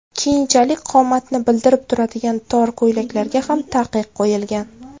Keyinchalik qomatni bildirib turadigan tor ko‘ylaklarga ham taqiq qo‘yilgan.